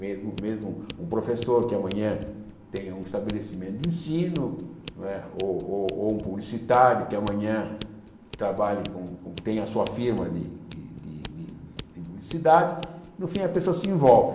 Mesmo mesmo um professor que amanhã tenha um estabelecimento de ensino não é, ou ou ou um publicitário que amanhã trabalhe com tenha a sua firma de de de de publicidade, no fim a pessoa se envolve.